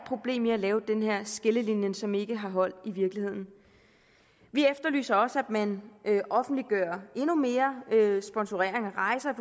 problem ved at lave den her skillelinje som ikke har hold i virkeligheden vi efterlyser også at man offentliggør endnu mere sponsorering af rejser